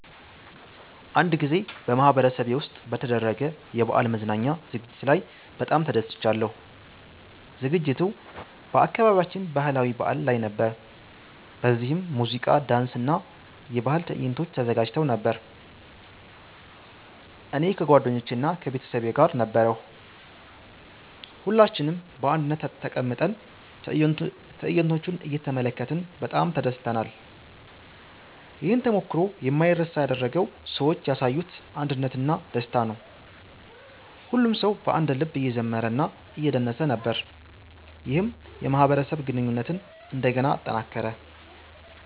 አንድ ጊዜ በማህበረሰቤ ውስጥ በተደረገ የበዓል መዝናኛ ዝግጅት ላይ በጣም ተደስቻለሁ። ዝግጅቱ በአካባቢያችን ባህላዊ በዓል ላይ ነበር፣ በዚህም ሙዚቃ፣ ዳንስ እና የባህል ትዕይንቶች ተዘጋጅተው ነበር። እኔ ከጓደኞቼ እና ከቤተሰቤ ጋር ነበርሁ። ሁላችንም በአንድነት ተቀምጠን ትዕይንቶቹን እየተመለከትን በጣም ተደስተናል። ይህን ተሞክሮ የማይረሳ ያደረገው ሰዎች ያሳዩት አንድነት እና ደስታ ነው። ሁሉም ሰው በአንድ ልብ እየዘመረ እና እየደነሰ ነበር፣ ይህም የማህበረሰብ ግንኙነትን እንደገና አጠናከረ።